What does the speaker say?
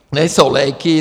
Nejsou léky.